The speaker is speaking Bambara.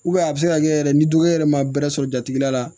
a bɛ se ka kɛ yɛrɛ ni dɔgɔkɛ yɛrɛ ma bɛrɛ sɔrɔ jatigila la